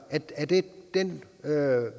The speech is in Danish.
er det den